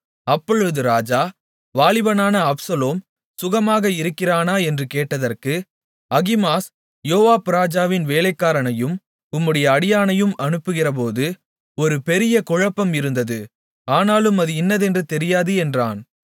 அப்பொழுது ராஜா வாலிபனான அப்சலோம் சுகமாக இருக்கிறானா என்று கேட்டதற்கு அகிமாஸ் யோவாப் ராஜாவின் வேலைக்காரனையும் உம்முடைய அடியானையும் அனுப்புகிறபோது ஒரு பெரிய குழப்பம் இருந்தது ஆனாலும் அது இன்னதென்று தெரியாது என்றான்